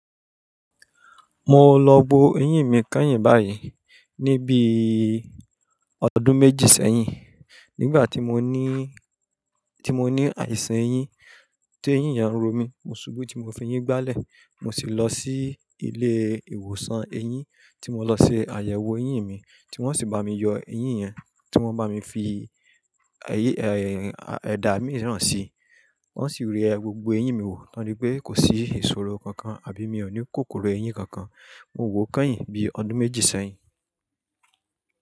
Mo lọ bo eyín mi kányìn báyìí ní bíi ọdún méjì sẹ́yìn. Nígbà tí mo ní, tí mo ní àìsàn eyín, tí eyín yànro mi, mo ṣubú tí mo fi eyín gbálẹ̀. Mo sì lọ sí ilé ìwòsàn eyín tí mo lọ ṣe àyẹ̀wò eyín mi, tí wọ́n sì bá mi yọ eyín yẹn, tí wọ́n bá mi fi èyí, e a, èdá mì náà sì. Wọ́n sì rì ẹ gbogbo eyín mi wò, wọn rí pé kò sí ìṣòro kankan àbí mi ò ní kòkòrò eyín kankan. Mo wò ó kányìn bíi ọdún méjì sẹ́yìn.